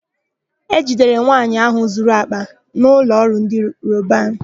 E jidere nwaanyị áhụ̀ zuru àkpà na ụlọọrụ ndị Robanu.